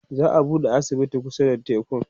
za'a buɗe asibiti kusa da tekun